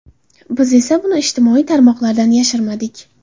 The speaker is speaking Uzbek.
Biz esa buni ijtimoiy tarmoqlardan yashirmadik.